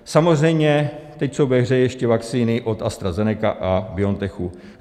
Samozřejmě, teď jsou ve hře ještě vakcíny od AstraZeneca a BioNTech.